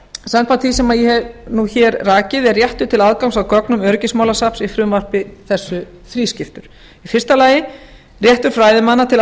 samkvæmt því sem ég hef hér rakið er réttur til aðgangs að gögnum öryggismálasafns í frumvarpi þessu þrískiptur einn réttur fræðimanna til